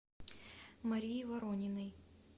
марии ворониной